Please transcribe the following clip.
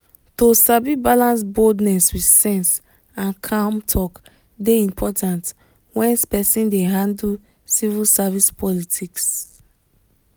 to sabi balance boldness with sense and calm talk dey important when person dey handle civil service politics.